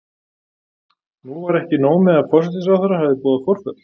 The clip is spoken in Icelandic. Nú var ekki nóg með að forsætisráðherra hafði boðað forföll.